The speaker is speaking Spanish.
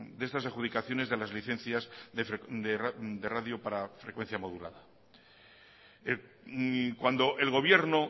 de estas adjudicaciones de las licencias de radio para frecuencia modulada cuando el gobierno